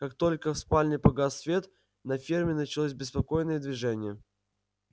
как только в спальне погас свет на ферме началось беспокойное движение